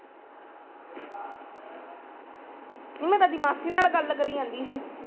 ਮੈਂ ਤਾ ਮਾਸੀ ਨਾਲ ਗਲ ਕਰੀ ਜਾਂਦੀ ਸੀ